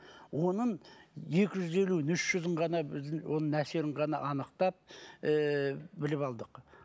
оның екі жүз елуін үш жүзін ғана ыыы оның әсерін ғана анықтап ыыы біліп алдық